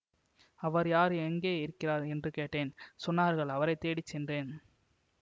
அவர் யார் எங்கே இருக்கிறார் என்று கேட்டேன் சொன்னார்கள் அவரை தேடி சென்றேன்